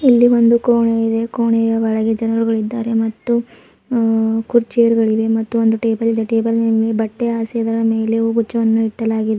ಇಲ್ಲಿ ಒಂದು ಕೋಣೆ ಇದೆ ಕೋಣೆಯ ಒಳಗೆ ಜನಗಳು ಇದ್ದಾರೆ ಮತ್ತು ಅ ಕುರ್ ಚೇರು ಗಳಿವೆ ಮತ್ತು ಒಂದು ಟೇಬಲ್ ಇದೆ ಟೇಬಲ್ ಮೇಲೆ ಬಟ್ಟೆ ಹಾಸಿದ್ದಾರೆ ಅದರ ಮೇಲೆ ಹೂಗುಚ್ಛವನ್ನು ಇಡಲಾಗಿದೆ.